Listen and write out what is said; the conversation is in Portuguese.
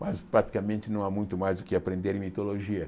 Mas praticamente não há muito mais o que aprender em mitologia.